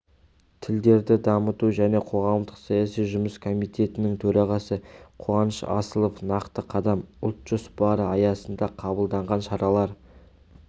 тілдерді дамыту және қоғамдық-саяси жұмыс комитетінің төрағасы қуаныш асылов нақты қадам ұлт жоспары аясында қабылданған шаралар